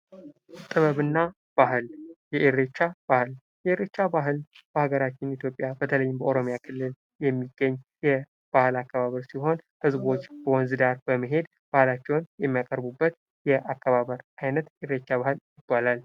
ጥበብ እና ባህል፦ የኢሬቻ ባህል የኢሬቻ ባህል በሃገራችን ኢትዮጵያ በተለይም በኦሮሚያ ክልል የሚገኝ የባህል አከባበር ሲሆን ህዝቦች በወንዝ ዳር በመሄድ ባህላቸውን የሚያከብሩበት የአከባበር አይነት የኢሬቻ ባህል ይባላል።